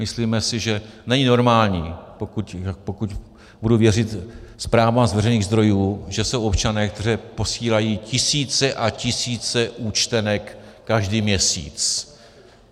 Myslíme si, že není normální, pokud budu věřit zprávám z veřejných zdrojů, že jsou občané, kteří posílají tisíce a tisíce účtenek každý měsíc.